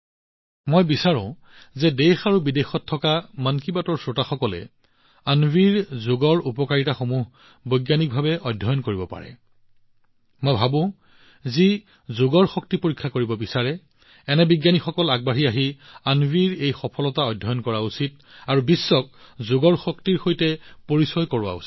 মই বিচাৰোঁ যে দেশ আৰু বিদেশত উপস্থিত থকা মন কী বাতৰ শ্ৰোতাসকলে অন্বীক যোগৰ লাভালাভবোৰ বৈজ্ঞানিকভাৱে অধ্যয়ন কৰিব পাৰে মই ভাবো অন্বী এটা ভাল কেছ অধ্যয়ন যি যোগৰ শক্তি পৰীক্ষা কৰিব বিচাৰে এনে সময়ত বিজ্ঞানীসকলে আগবাঢ়ি আহি অন্বীৰ এই সফলতা অধ্যয়ন কৰা উচিত আৰু বিশ্বক যোগৰ সম্ভাৱনাৰ সৈতে পৰিচয় কৰাই দিয়া উচিত